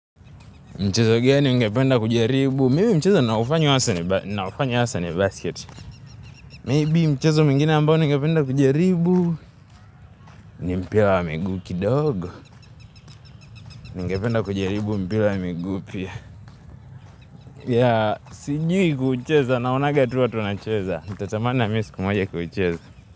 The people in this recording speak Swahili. Mchezo gani ugependa kujaribu. Mimi mchezo ninaofanya hasa ni basket. May be mchezo mwingine ambao ningependa kujaribu. Ni mpila wa miguu kidogo. Ningependa kujaribu mpila ya miguu pia. Ya, sijui kuucheza, naonaga tu watu wanacheza. Itatamana mi siku moja kuucheza.